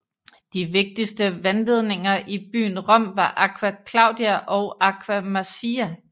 De vigtigste vandledninger i byen Rom var Aqua Claudia og Aqua Marcia